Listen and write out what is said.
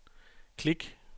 klik